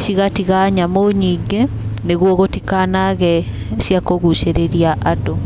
cigatiga nyamũ nyingĩ nĩgũo gũtikanaage cia kũgũcĩrĩria andũ.